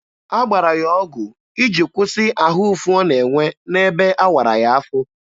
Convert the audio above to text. A gbara ya ọgụ iji kwụsị ahụ ụfụ ọ na-enwe n'ebe awara ya afọ.